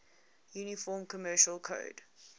uniform commercial code